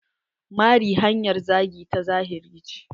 Mari hanyar zagi ta zahiri ce.